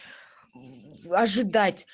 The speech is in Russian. ожидать